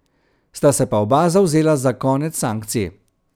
Sta se pa oba zavzela za konec sankcij.